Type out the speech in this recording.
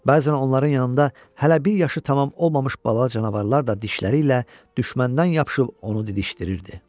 Bəzən onların yanında hələ bir yaşı tamam olmamış bala canavarlar da dişləri ilə düşməndən yapışıb onu didişdirirdi.